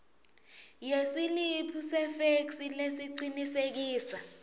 yesiliphu sefeksi lesicinisekisa